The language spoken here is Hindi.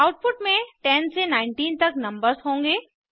आउटपुट में 10 से 19 तक नंबर्स होंगे